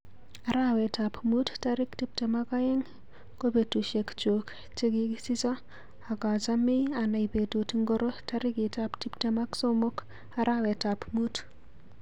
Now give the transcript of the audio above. Arawetap muut tarik tuptem ak aeng ko betushekchuk chegigisicho agamachei anai betut ngiro tarikitap tuptem ak somok arawetap muut